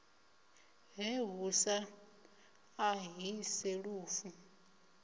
he hu sa ṱahise lufu